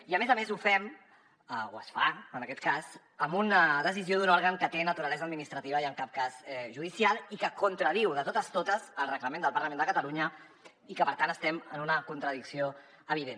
i a més a més ho fem o es fa en aquest cas amb una decisió d’un òrgan que té naturalesa administrativa i en cap cas judicial i que contradiu de totes totes el reglament del parlament de catalunya i que per tant estem en una contradicció evident